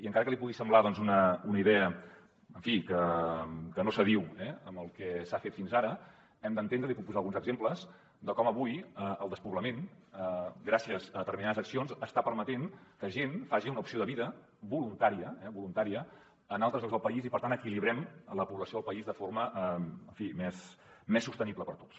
encara que li pugui semblar una idea que no s’adiu amb el que s’ha fet fins ara hem d’entendre n’hi puc posar alguns exemples com avui el despoblament gràcies a determinades accions està permetent que gent faci una opció de vida voluntària en altres llocs del país i per tant equilibrem la població del país de forma més sostenible per a tots